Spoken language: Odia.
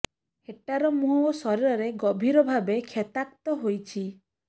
ହେଟାର ମୁହଁ ଓ ଶରୀରରେ ଗଭୀର ଭାବେ କ୍ଷତାକ୍ତ ହୋଇଛି